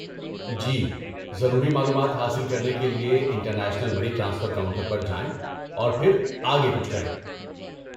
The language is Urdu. جی، ضروری معلومات حاصل کرنے کے لیے انٹرنیشنل منی ٹرانسفر کاؤنٹر پر جائیں اور پھر آگے کچھ کریں۔